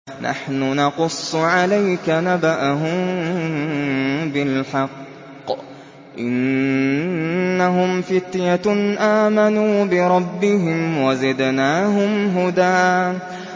نَّحْنُ نَقُصُّ عَلَيْكَ نَبَأَهُم بِالْحَقِّ ۚ إِنَّهُمْ فِتْيَةٌ آمَنُوا بِرَبِّهِمْ وَزِدْنَاهُمْ هُدًى